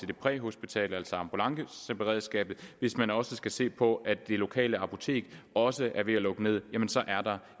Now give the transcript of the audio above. det præhospitale altså ambulanceberedskabet hvis man også skal se på at det lokale apotek også er ved at lukke ned jamen så er der